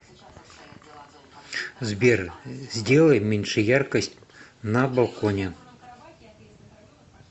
сбер сделай меньше яркость на балконе